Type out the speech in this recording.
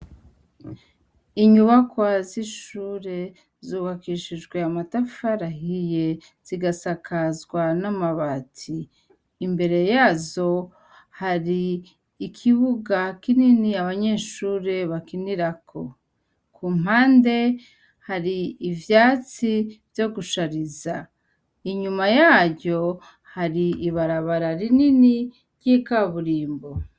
Inyubakwa zishure zubakishijwe amatafari ahiye zikasakazwa namabati imbere yazo hari ikibuga kinini abanyeshure bakinirako kumpande hari ivyatsi vyo gushariza inyuma yavyo hari ibarabara rinini ryikaburimbo